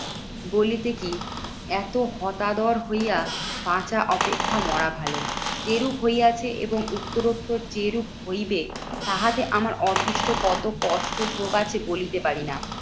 বলিতে কি এত হতাদর হইয়া বাঁচা অপেক্ষা মরা ভালো? যেরূপ হইয়াছে এবং উত্তরোত্তর যেরূপ হইবে তাহাতে আমার অদৃষ্ট কত কষ্ট প্রকাশে বলিতে পারি না?